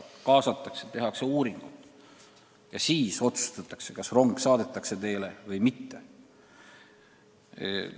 Kaasatakse, tehakse uuringuid ja siis otsustatakse, kas rong saadetakse teele või mitte.